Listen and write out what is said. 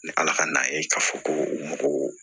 Ni ala ka n'a ye k'a fɔ ko